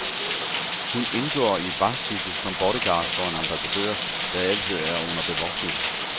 Hun indgår i et vagtskifte som bodyguard for en ambassadør, der altid er under bevogtning.